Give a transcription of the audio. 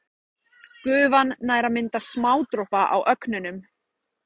Gufan nær að mynda smádropa á ögnunum.